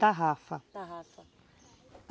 Tarrafa. Tarrafa.